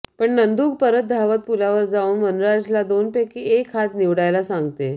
पण नंदू परत धावत पुलावर जाऊन वनराज ला दोन पैकी एक हात निवडायला सांगते